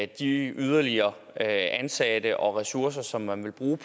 de yderligere ansatte og ressourcer som man vil bruge